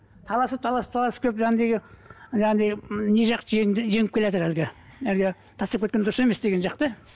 таласып таласып таласып келіп не жақ жеңді жеңіп келеатыр әлгі әлгі тастап кеткен дұрыс емес деген жақ та